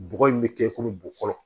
Bɔgɔ in bɛ kɛ i komi bɔgɔ